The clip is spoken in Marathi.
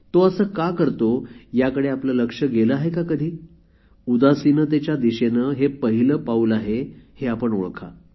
तो असे का करतो याकडे आपले लक्ष गेले आहे का कधी उदासीनतेच्या दिशेने हे पहिले पाऊल आहे हे आपण ओळखा